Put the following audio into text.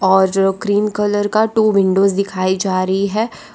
और जो cream colour का टू विंडोज दिखाई जा रही है।